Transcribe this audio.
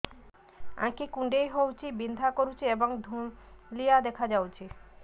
ଆଖି କୁଂଡେଇ ହେଉଛି ବିଂଧା କରୁଛି ଏବଂ ଧୁଁଆଳିଆ ଦେଖାଯାଉଛି